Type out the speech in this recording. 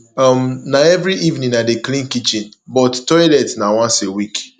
um na every evening i dey clean kitchen but toilet na once for week